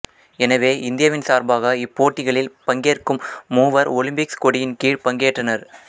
எனவே இந்தியாவின் சார்பாக இப்போட்டிகளில் பங்கேற்கும் மூவர் ஒலிம்பிக் கொடியின் கீழ் பங்கேற்றனர்